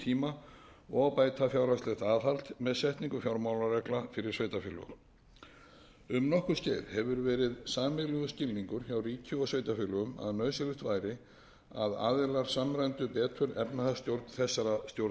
tíma og bæta fjárhagslegt aðhald með setningu fjármálaregla fyrir sveitarfélög um nokkurt skeið hefur verið sameiginlegur skilningur hjá ríki og sveitarfélögum að nauðsynlegt væri að aðilar samræmdu betur efnahagsstjórn þessara stjórnsýslustiga með